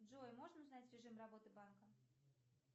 джой можно узнать режим работы банка